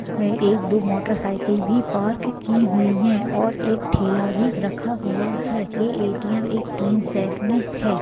एक दो मोटरसाइ-किल भी पार्क की हुई है और एक ठॆला भी रखा हु-आ है एक एटीएम एक तीन सेट में है।